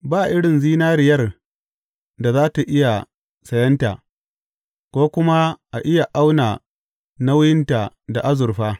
Ba irin zinariyar da za tă iya sayenta, ko kuma a iya auna nauyinta da azurfa.